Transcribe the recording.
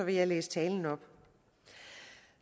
jeg læse talen op